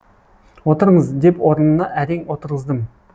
отырыңыз деп орынына әрең отырғыздым